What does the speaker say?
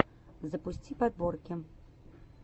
запусти подборки